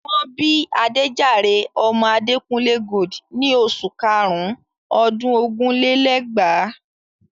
Wọ́n bí Adéjàre ọmọ Adekunle Gold in oṣù karùn-ún ọdún ogún lé lẹ́gbàá.